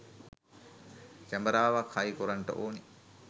කැමරාවක් හයි කොරන්ට ඕන